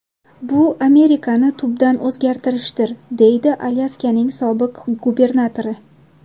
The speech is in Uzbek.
Bu Amerikani tubdan o‘zgartirishdir”, deydi Alyaskaning sobiq gubernatori.